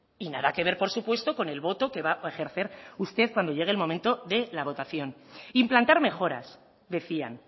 y nada que ver por supuesto con el voto que va a ejercer usted cuando llegue el momento de la votación implantar mejoras decían